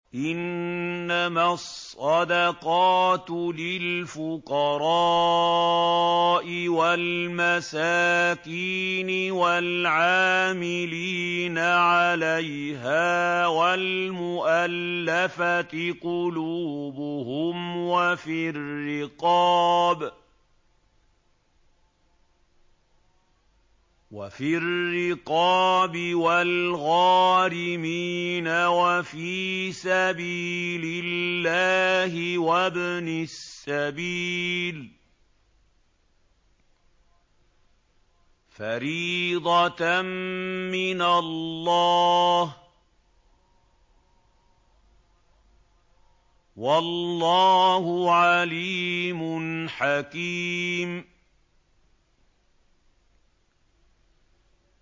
۞ إِنَّمَا الصَّدَقَاتُ لِلْفُقَرَاءِ وَالْمَسَاكِينِ وَالْعَامِلِينَ عَلَيْهَا وَالْمُؤَلَّفَةِ قُلُوبُهُمْ وَفِي الرِّقَابِ وَالْغَارِمِينَ وَفِي سَبِيلِ اللَّهِ وَابْنِ السَّبِيلِ ۖ فَرِيضَةً مِّنَ اللَّهِ ۗ وَاللَّهُ عَلِيمٌ حَكِيمٌ